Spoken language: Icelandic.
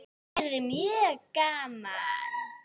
Það yrði mjög gaman.